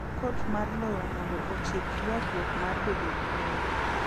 Kot mar lowo mondo otiek ywarruok mar bedo gi lowo.